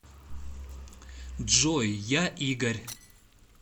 джой я игорь